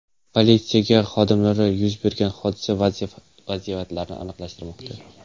Politsiya xodimlari yuz bergan hodisa vaziyatlarini aniqlashtirmoqda.